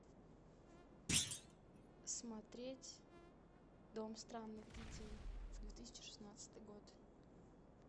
смотреть дом странных детей две тысячи шестнадцатый год